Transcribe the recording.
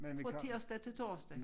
Fra tirsdag til torsdag